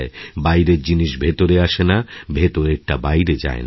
বাইরের জিনিস ভেতরে আসেনা ভেতরেরটা বাইরে যায় না